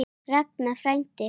Ragnar frændi.